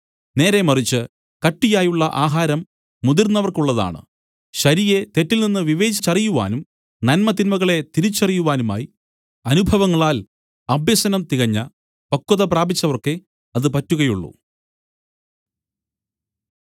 നേരേമറിച്ച് കട്ടിയായുള്ള ആഹാരം മുതിർന്നവർക്കുള്ളതാണ് ശരിയെ തെറ്റിൽ നിന്ന് വിവേചിച്ചറിയുവാനും നന്മതിന്മകളെ തിരിച്ചറിയുവാനുമായി അനുഭവങ്ങളാൽ അഭ്യസനം തികഞ്ഞ പക്വത പ്രാപിച്ചവർക്കേ അത് പറ്റുകയുള്ളൂ